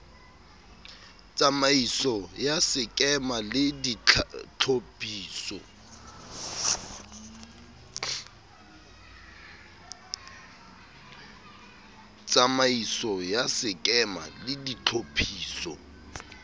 tsamaiso ya sekema le ditlhophiso